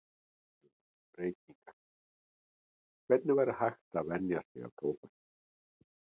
Næst tölum við um reykingar, hvernig væri hægt að venja sig af tóbaki.